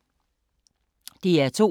DR2